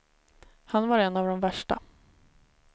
Han var en av de värsta.